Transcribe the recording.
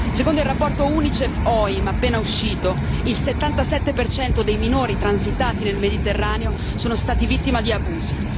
Secondo il rapporto UNICEF OIM appena uscito, il 77 dei minori transitati nel Mediterraneo sono stati vittime di abusi.